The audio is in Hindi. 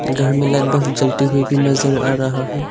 घर में लाइट बल्ब जलती हुई भी नजर आ रहा है।